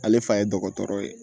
Ale fa ye dɔgɔtɔrɔ ye